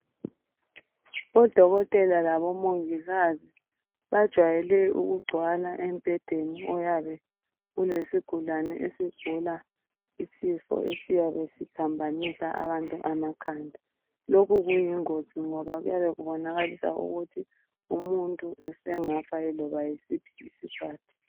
Odokotela labo mongikazi bajwayele ukugcwala embhedeni oyabe ulesigulane esigula isifo esiyabe siphambanisa abantu amakhanda. Lokhu kuyingozi ngoba kuyabe kubonakalisa ukuthi umuntu esengafa yiloba yisiphi isikhathi.